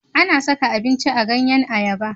A na saka abinci a ganyen ayaba